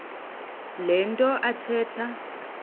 le nto athetha